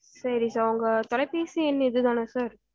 சேரி sir உங்க தொலைபேசி எண் இது தானா sir